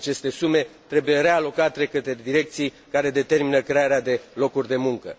Aceste sume trebuie realocate către direcții care determină crearea de locuri de muncă.